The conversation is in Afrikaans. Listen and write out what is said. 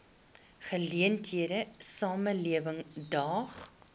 geleentheid samelewing daag